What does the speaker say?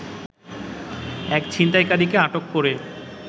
এক ছিনতাইকারীকে আটক করে